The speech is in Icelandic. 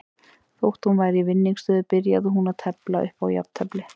Þótt hún væri í vinningsstöðu byrjaði hún að tefla upp á jafntefli.